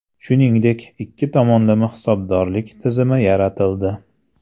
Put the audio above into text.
Shuningdek, ikki tomonlama hisobdorlik tizimi yaratildi.